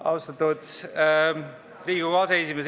Austatud Riigikogu aseesimees!